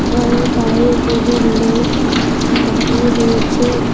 ঘরের বাইরে দুজন লোক দাঁড়িয়ে রয়েছে।